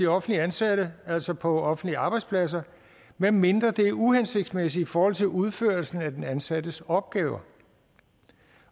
offentligt ansatte altså på offentlige arbejdspladser medmindre det er uhensigtsmæssigt i forhold til udførelsen af den ansattes opgaver